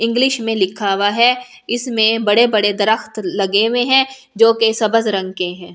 English में लिखा हुआ है इसमें बड़े बड़े दरख्त लगे हुए है जो सब्ज रंग के है।